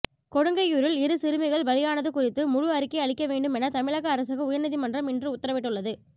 கொடுங்கையூரில் இரு சிறுமிகள் பலியானது குறித்து முழு அறிக்கை அளிக்க வேண்டும் என தமிழக அரசுக்கு உயர்நீதிமன்றம் இன்று உத்தரவிட்டுள்ளது